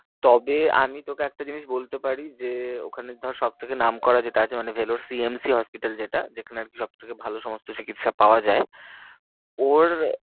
তবে আমি তোকে একটা জিনিস বলতে পারি যে ওখানে ধর সব থেকে নাম করা যেটা আছে মানে Vellore CMC hospital যেটা যেখানে আর কি সব থেকে ভালো সমস্ত চিকিৎসা পাওয়া যায় ওর